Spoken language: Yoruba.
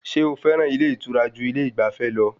Sé o fẹ́ràn ilé ìtura ju ilé ìgbafẹ́ lọ?